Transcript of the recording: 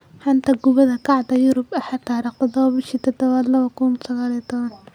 Xanta Kubadda Cagta Yurub Axad 07.07.2019: Costa, Maguire, Neuer, Rondon, Lukaku